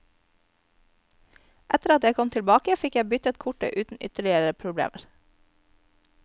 Etter at jeg kom tilbake, fikk jeg byttet kortet uten ytterligere problemer.